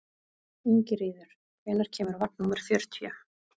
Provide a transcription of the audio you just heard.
Ingiríður, hvenær kemur vagn númer fjörutíu?